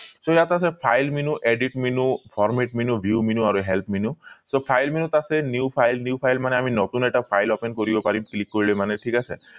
so ইয়াত আছে file menu edit menu format menu view menu আৰু help menu so file menu ত আছে new file new file মানে আমি নতুন এটা file open কৰিব পাৰিম click কৰিলে মানে ঠিক আছে